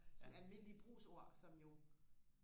sådan almindelige brugsord som jo